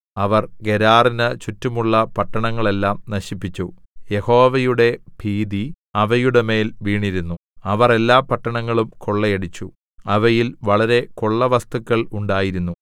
അവർ ഗെരാറിന്നു ചുറ്റുമുള്ള പട്ടണങ്ങളെല്ലാം നശിപ്പിച്ചു യഹോവയുടെ ഭീതി അവയുടെമേൽ വീണിരുന്നു അവർ എല്ലാ പട്ടണങ്ങളും കൊള്ളയടിച്ചു അവയിൽ വളരെ കൊള്ളവസ്തുക്കൾ ഉണ്ടായിരുന്നു